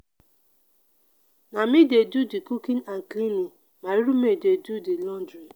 na me dey do di cooking and cleaning my roommate dey do di laundry.